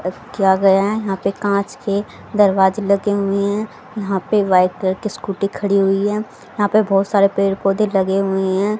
किया गया है यहां पे कांच के दरवाजे लगे हुए हैं यहां पे वाइट कलर की स्कूटी खड़ी हुई है यहां पे बहुत सारे पेड़ पौधे लगे हुए हैं।